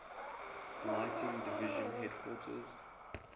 lighting division headquarters